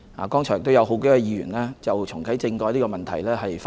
剛才也有數位議員就重啟政改發言。